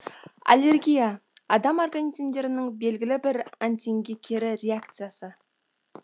аллергия адам организмдерінің белгілі бір антигенге кері реакциясы